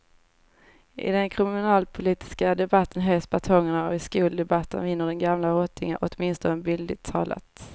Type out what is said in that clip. I den kriminalpolitiska debatten höjs batongerna och i skoldebatten viner den gamla rottingen, åtminstone bildligt talat.